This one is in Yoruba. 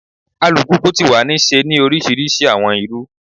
Alupupu ti wa ni ṣe ni orisirisi awọn iru